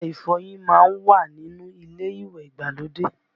Ọṣẹ ìfọyín má ń wà nínú ilé ìwẹ̀ ìgbàlódé